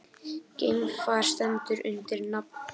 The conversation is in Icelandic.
Geimfar stendur undir nafni